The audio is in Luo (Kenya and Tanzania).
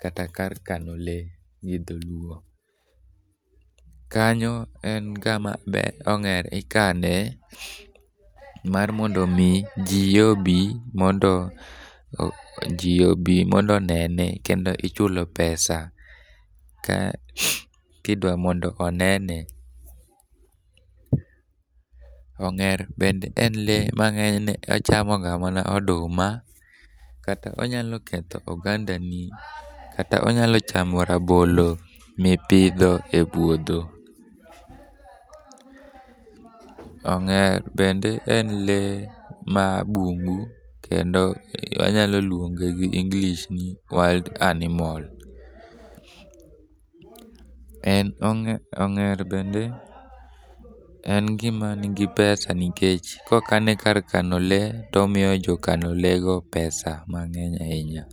kata kar kano lee gi dholuo. Kanyo en kama ong'er ikane mar mondo omi ji obi mondo onene kendo ichulo pesa ka idwa mondo onene. Ong'er bende en lee ma ng'enyne ochamoga mana oduma, kata onyalo ketho ogandani , kata onyalo chamo rabolo ma ipidho e puodho. Ong'er bende en lee ma bungu kendo anyalo luonge gi English ni wild animal. Ong'er bende en gima nigi pesa nikech ka okane kar kano lee to omiyo jokano lee go pesa mang'eny ahinya.